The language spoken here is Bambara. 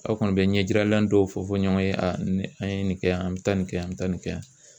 Aw kɔni bɛ ɲɛjiralan dɔw fɔ fɔ ɲɔgɔn ye nin an ye nin kɛ yan an bɛ taa nin kɛ an bɛ taa nin kɛ yan.